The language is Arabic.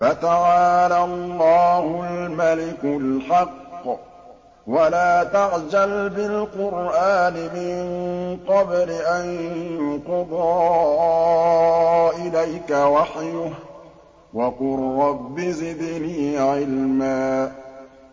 فَتَعَالَى اللَّهُ الْمَلِكُ الْحَقُّ ۗ وَلَا تَعْجَلْ بِالْقُرْآنِ مِن قَبْلِ أَن يُقْضَىٰ إِلَيْكَ وَحْيُهُ ۖ وَقُل رَّبِّ زِدْنِي عِلْمًا